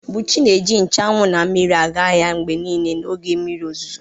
Buchi na-eji nche anwụ na mmiri aga ahịa mgbe niile n'oge mmiri ozuzo.